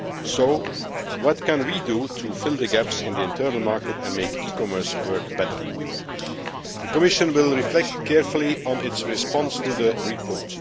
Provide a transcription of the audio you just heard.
So what can we do to fill the gaps in the internal market and make e commerce work better? The Commission will reflect carefully on its response to the report.